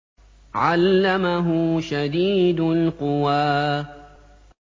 عَلَّمَهُ شَدِيدُ الْقُوَىٰ